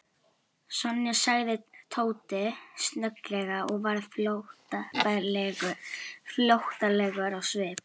Sonja sagði Tóti snögglega og varð flóttalegur á svip.